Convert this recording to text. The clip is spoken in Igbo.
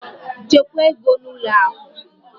Chekwaa gị n'ụlọ akụ!